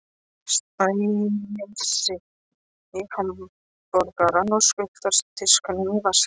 Spænir í sig hamborgarann og skutlar diskinum í vaskinn.